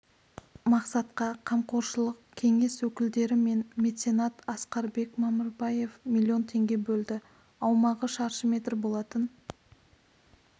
мақсатқа қамқоршылық кеңес өкілдері мен меценат асқарбек мамырбаев миллион теңге бөлді аумағы шаршы метр болатын